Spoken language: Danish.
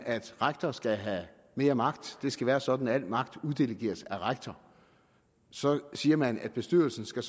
at rektor skal have mere magt det skal være sådan at al magt uddelegeres af rektor så siger man at bestyrelsen skal